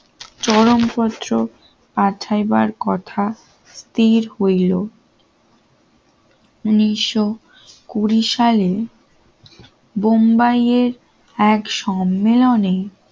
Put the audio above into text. চরমপত্র পাঠাইবার কথা স্থির হইল নিশো কুড়ি সালে বোম্বাইয়ের এক সম্মেলনে